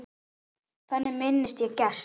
Þannig minnist ég Gests.